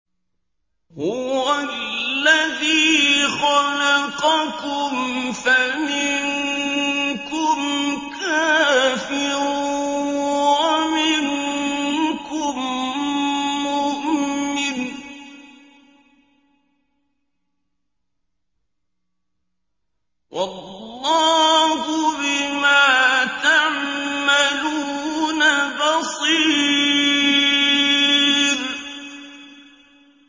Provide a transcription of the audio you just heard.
هُوَ الَّذِي خَلَقَكُمْ فَمِنكُمْ كَافِرٌ وَمِنكُم مُّؤْمِنٌ ۚ وَاللَّهُ بِمَا تَعْمَلُونَ بَصِيرٌ